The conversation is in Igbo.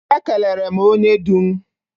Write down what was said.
Ekelere m onye du m.